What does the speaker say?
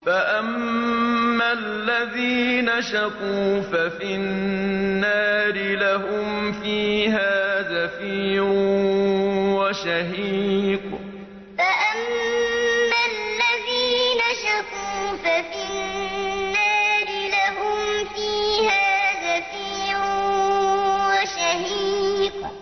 فَأَمَّا الَّذِينَ شَقُوا فَفِي النَّارِ لَهُمْ فِيهَا زَفِيرٌ وَشَهِيقٌ فَأَمَّا الَّذِينَ شَقُوا فَفِي النَّارِ لَهُمْ فِيهَا زَفِيرٌ وَشَهِيقٌ